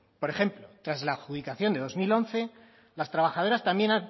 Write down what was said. por ejemplo tras la adjudicación de dos mil once las trabajadoras también